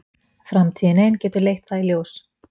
Framtíðin ein getur leitt það í ljós.